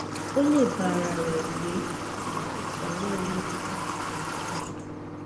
o lè bá ara rẹ gbé àmó àìsàn náà lè máa pò sí i